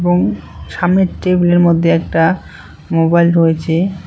এবং সামনের টেবিলের মধ্যে একটা মোবাইল রয়েছে।